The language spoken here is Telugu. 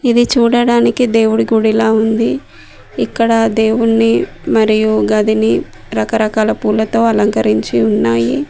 ఇది చూడడానికి దేవుడి గుడిలా ఉంది ఇక్కడ దేవుణ్ణి మరియు గదిని రకరకాల పూలతో అలంకరించి ఉన్నాయి.